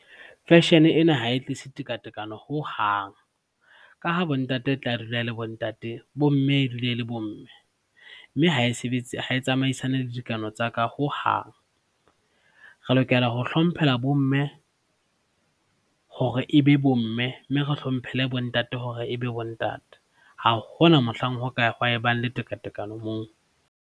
Fashion-e ena ha e tlisa tekatekano hohang ka ha bo ntate e tla dula le bontate, bomme e dule e le bomme mme ha e sebetse, ha e tsamaisane le dikano tsa ka hohang. Re lokela ho hlomphela bomme hore ebe bomme, mme re hlomphele bontate hore ebe bontate. Ha hona mohlang ho ka ha ebang le tekatekano moo.